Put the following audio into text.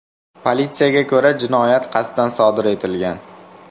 Politsiyaga ko‘ra, jinoyat qasddan sodir etilgan.